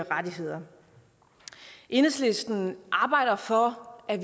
rettigheder enhedslisten arbejder for at